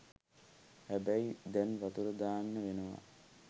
හැබැයි දැන් වතුර දාන්න වෙනවා